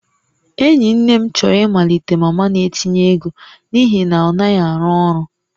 Enyi nne m chọrọ ịmalite mama na-etinye ego n'ihi na ọ naghị arụ ọrụ